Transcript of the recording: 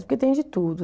que tem de tudo.